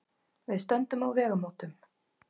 Við stöndum á vegamótum.